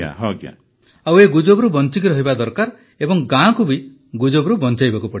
ପ୍ରଧାନମନ୍ତ୍ରୀ ଆଉ ଏ ଗୁଜବରୁ ବଞ୍ଚିକି ରହିବା ଦରକାର ଏବଂ ଗାଁକୁ ବି ଗୁଜବରୁ ବଞ୍ଚାଇବାକୁ ପଡ଼ିବ